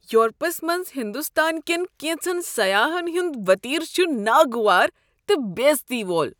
Europe's منٛز ہندوستان کٮ۪ن کینٛژن سیاحن ہنٛد وتیرٕ چھ ناگوار تہٕ بیزتی وول ۔